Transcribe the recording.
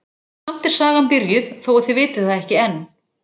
Samt er sagan byrjuð þó að þið vitið það ekki enn.